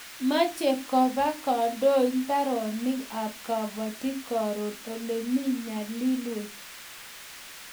Mache koba kandoik mbaronik ab kabatik koro ole mito nyalilwek